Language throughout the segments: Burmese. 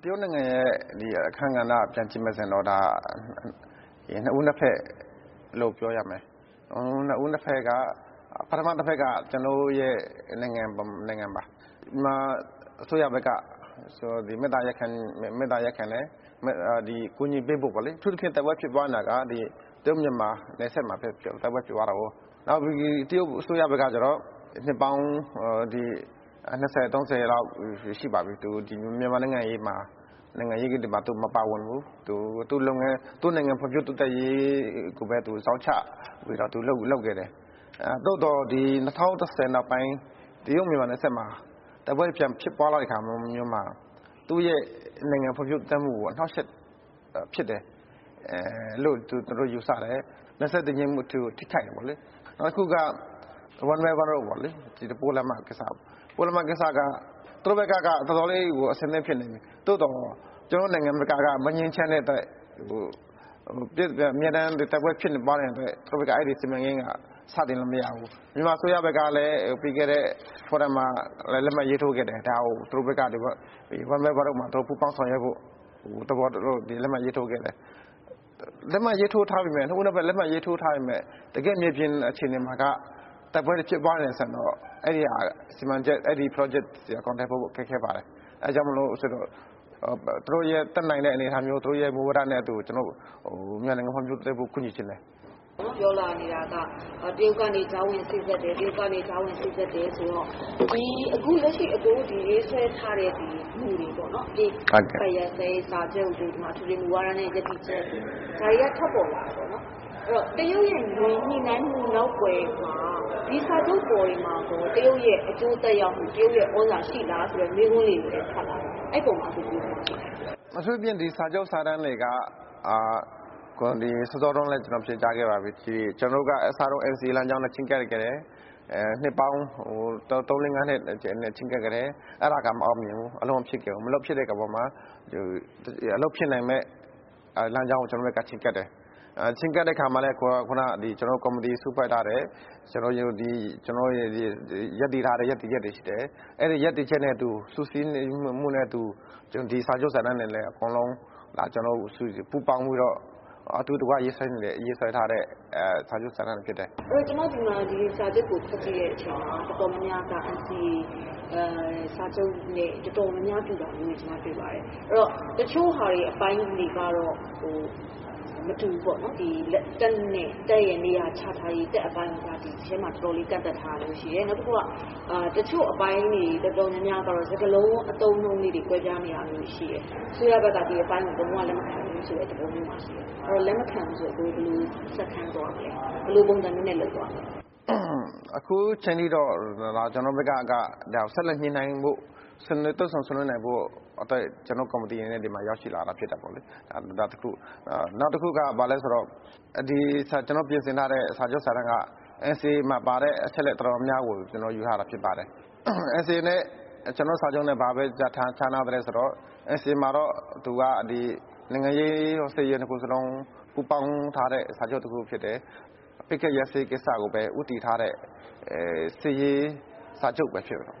တရုတ်နိုင်ငံရဲ့ အခန်းကဏ္ဍကို ပြန်ကြည့်မယ် ဆိုရင်တော့ ဒါ နှစ်ဦး နှစ်ဖက်လို့ ပြောရမယ်။ နှစ်ဦးနှစ်ဖက်က ပထမတဖက်က ကျနော်တို့ ရဲ့ နိုင်ငံပါ။ မြန်မာအစိုးရ ဘက်က မေတ္တာရပ်ခံတယ်။ အကူညီပေးဖို့ ပေါ့လေ။ အထူးသဖြင့် တိုက်ပွဲဖြစ်ပွား နေတာက တရုတ် မြန်မာ နယ်စပ်မှာ တိုက်ပွဲ ဖြစ်ပွားတာကိုး။တရုတ်အစိုးရဘက်က ကျတော့ နှစ်ပေါင်း နှစ်ဆယ် သုံးဆယ်လောက် ရှိပါပြီ။ သူ မြန်မာ့နိုင်ငံရေးမှာ ဝင်မပါဘူး။ သူ့လုပ်ငန်း၊ သူ့နိုင်ငံ ဖွံ့ဖြိုးတိုးတက်ရေးကိုဘဲ သူဇောက်ချပြီး သူလုပ်ခဲ့တယ်။ သို့သော် ဒီ ၂၀၁၀ နောက်ပိုင်း တရုတ်မြန်မာ နယ်စပ်မှာ တိုက်ပွဲတွေ ပြန်ဖြစ်ပွားတဲ့ အခါ သူ့ရဲ့နိုင်ငံ ဖွံ့ဖြိုးတိုးတက်မှုကို အနှောက်ယှက်ဖြစ်တယ်လို့ သူတို့ယူဆတယ်။ နယ်စပ်တည်ငြိမ်မှုကို ထိခိုက်တယ်ပေါ့လေ။ အခုက One Belt One Road ပေါ့လေ ပိုးလမ်းမ ကိစ္စပေါ့လေ။ ပိုးလမ်းမက သူတို့ဘက်က တော်တော်လေးကို အဆင်သင့်ဖြစ်နေပြီ။ သို့သော် ကျနော်တို့ နိုင်ငံဘက်က မငြိမ်းချမ်းတဲ့ အတွက် အမြဲတမ်း တိုက်ပွဲဖြစ်ပွား နေတဲ့အတွက် သူတို့ဘက်က အဲဒီစီမံကိန်းက စတင်လို့မရဘူး။ မြန်မာအစိုးရဘက် ကလည်း ပြီးခဲ့တဲ့ Forum မှာ လက်မှတ်ရေးထိုး ခဲ့တယ်။ ဒါကို သူတို့ဘက်က One Belt One Rode မှာ ပူးပေါင်းဆောင်ရွက်ဖို့ လက်မှတ်ရေးထိုးခဲ့တယ်။ လက်မှတ်ရေးထိုး ထားပေမယ့် နှစ်ဦးနှစ်ဖက် လက်မှတ်ရေးထိုး ထားပေမယ့် တကယ့် မြေပြင် အခြေအနေမှာက တိုက်ပွဲတွေ ဖြစ်ပွားနေတဲ့ အဆင့်ပေါ့။အဲဒီစီမံချက်၊ အဲဒီ Projects တွေက အကောင်ထည်ဖော်ဖို့ ခက်ခဲပါတယ်။ အဲဒါကြောင့်မို့လို့ သူတို့ရဲ့တတ်နိုင်သမျှ အနေအထားမျိုး သူတို့ရဲ့ မူဝါဒနဲ့သူ မြန်မာနိုင်ငံ ဖွံ့ဖြိုးတိုးတက်ဖို့ ကူညီချင်တယ်။ မမေခ။ ။ အခု ပြောလာနေတာက တရုတ်က ကြားဝင်စေ့စပ်တယ်။ တရုတ်က ကြားဝင် စေ့စပ်တယ်ဆိုတော့ ဒီ အခု လက်ရှိ အကိုတို့ ရေးဆွဲထားတဲ့ မူတွေပေါ့နော် အပစ်အခတ် ရပ်စဲရေး စာချုပ်တို့ ၊ အထွေထွေ မူဝါဒနဲ့ ရပ်တည်ချက်တို့ ၊ ဒါတွေက ထွက်ပေါ်လာပြီပေါ့နော်။ အဲဒီတော့ တရုတ်ရဲ့ညှိနှိုင်းမှု နောက်ကွယ်မှာ ပေါ့နော်။ ဒီစာချုပ်တွေ ပေါ်မှာကော တရုတ်ရဲ့အကျိုးသက်ရောက်မှု၊ သြဇာသက်ရောက်မှု ရှိလားဆိုတဲ့ မေးခွန်းလေးတွေလည်း ထွက်ပေါ်လာနေတယ်။ အဲဒီ အပေါ်မှာကော အကိုရဲ့သဘောထားလေး ဘယ်လိုရှိသလဲ။ ဗိုလ်မှူး တာပန်လှ။ ။ အထူးသဖြင့် ဒီစာချုပ်စာတမ်းတွေက စောစောတုန်း ကလည်း ကျနော်ဖြေကြားခဲ့ပါပြီ။ ကျနော်တို့က အစောဆုံး NCA လမ်းကြောင်းနဲ့ ချဉ်းကပ်ခဲ့ပါတယ်။ နှစ်ပေါင်း သုံး လေး ငါးနှစ် ချဉ်းကပ်တယ်။ အဲဒါက မအောင်မြင်ဘူး။ အလုပ်မဖြစ်ခဲ့ပါဘူး။ အလုပ်ဖြစ်မယ့် လမ်းကြောင်းကို ကျနော်တို့ ချဉ်းကပ်တယ်။ ချဉ်းကပ်တဲ့ အခါမှာလည်း ကျနော်တို့ ကော်မတီ စုဖွဲ့ထားတယ်။ ရပ်တည်ထားတဲ့ ရပ်တည် ချက်တွေရှိတယ်။ အဲဒီ ရပ်တည်ချက်နဲ့ အတူ စုစည်းနိုင်မှုနဲ့ အတူ ဒီစာချုပ်စာတမ်းလည်း အကုန်လုံး ပူးပေါင်းပြီးတော့ အတူတကွ ရေးဆွဲထားတဲ့ စာချုပ်စာတမ်းတွေ ဖြစ်ပါတယ်။ မမေခ။ ။ အဲဒီတော့ ကျမ ဒီစာချုပ်ကို ဖတ်ကြည့်တဲ့ အခါကျ တော်တော်များများက ဒီစာချုပ်နဲ့ တော်တော်များများ တူတာတွေ ကျမ တွေ့ပါတယ်။ အဲတော့ တချို့ဟာတွေ အပိုင်းတွေကတော့ မတူဘူးပေါ့နော်။ တပ်နဲ့ တပ်ရဲ့ နေရချထားရေး ဒီအပိုင်းမှာ တော်တော်လေး ကန့်သတ်ထားတာမျိုး ရှိတယ်။ နောက်တခုက တချို့ အပိုင်းတွေ တော်တော်များများကတော့ စကားလုံး အသုံးအနှုန်းလေးတွေ ကွဲပြာနေတာ ရှိတယ်။ အစိုးရဘက်က ဒီအပိုင်းကို လုံး၀ လက်မခံဘူးဆိုတဲ့ အပိုင်းမျိုး သဘောမျိုးမှာ ရှိတယ်။ အဲတော့ လက်မခံဘူးဆိုရင် ဘယ်လို ဆက်သွားမလဲ။ ဘယ်လိုပုံစံမျိုးနဲ့ လုပ်သွားမလဲ။ ဗိုလ်မှူး တာပန်လှ။ ။ အခုအချိန်ထိတော့ ကျနော်တို့ဘက်က ဆက်လက်ညှိနှိုင်းဖို့ တွေ့ဆုံဆွေးနွေးနိုင်ဖို့ ကျနော်တို့ ကော်မတီ အနေနဲ့ ဒီမှာ ရောက်ရှိလာတာ ဖြစ်တယ်ပေါ့လေ။ ဒါ တခု။ နောက်တခုက ဘာလဲ ဆိုတော့ ကျနော်တို့ ပြင်ဆင်ထားတဲ့ စာချုပ်စာတမ်းက NCA မှာ ပါတဲ့ အချက်အလက် တော်တော်များများကို ကျနော် ယူထားတာ ဖြစ်ပါတယ်။ NCA နဲ့ ကျနော်တို့ စာချုပ်နဲ့ ဘာဘဲ ခြားနားသလဲ ဆိုတော့ NCA မှာတော့ သူက နိုင်ငံရေး၊ စစ်ရေး နှစ်ခုစလုံး ပူးပေါင်းထားတဲ့ စာချုပ်တခု ဖြစ်တယ်။ ပစ်ခတ် တိုက်ခိုက်မှု ရပ်စဲရေး ကိစ္စကိုဘဲ ဦးတည်ထားတဲ့ စစ်ရေး စာချုပ်ဘဲ ဖြစ်တယ်။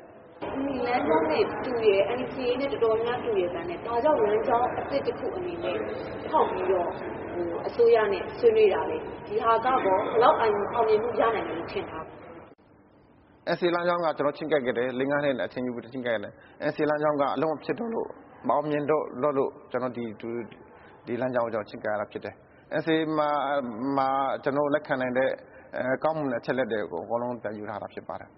မမေခ။ ။ ဒီလမ်းကြောင်းနဲ့ တူတယ်။ NCA နဲ့ တော်တော်များများတူရဲ့သားနဲ့ ဘာကြောင့်များ လမ်းကြောင်း အသစ်တခု အနေနဲ့ ဖောက်ပြီးတော့ အစိုးရနဲ့ ဆွေးနွေးတာလဲ။ ဒါကရော ဘယ်လောက် အောင်မြင်မှုရလာမယ်လို့ ထင်ထားလဲ။ ဗိုလ်မှူး တာပန်လှ။ ။ NCA လမ်းကြောင်းက ချဉ်းကပ်ခဲ့တယ်။ ၄ - ၅ နှစ် အ ချိန်ယူပြီး ချဉ်းကပ်ခဲ့တယ်။ NCA လမ်းကြောင်းက အလုပ်မဖြစ်တော့လို့ မအောင်မြင်တော့လို့ ကျနော်တို့ ဒီ လမ်းကြောင်းကို ချဉ်းကပ်ရတာ ဖြစ်တယ်။ NCA မှာ ကျနော်တို့ လက်ခံနိုင်တဲ့ ကောင်းမွန်တဲ့ အချက်အလက်တွေ အကုန်လုံး ပြန်ယူထားတာ ဖြစ်ပါတယ်